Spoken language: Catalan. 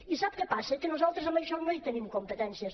i sap què passa que nosaltres en això no hi tenim competències